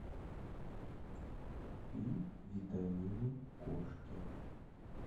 купи витамины кошке